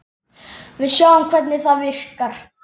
Við sjáum hvernig það virkar.